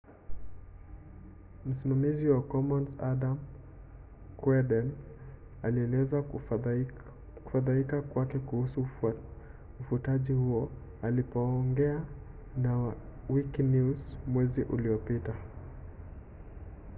msimamizi wa commons adam cuerden alielezea kufadhaika kwake kuhusu ufutaji huo alipoongea na wikinews mwezi uliopita